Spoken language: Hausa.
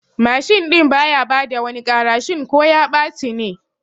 Mashin ɗin baya bada wani ƙara shin ko ya ɓaci ne?